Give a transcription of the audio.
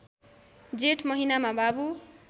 जेठ महिनामा बाबु